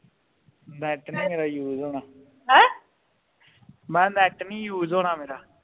net ਨਹੀਂ ਮੇਰਾ use ਹੋਣਾ ਮੈ ਕਿਹਾ ਨੈੱਟ ਨਹੀਂ use ਹੋਣਾ ਮੇਰਾ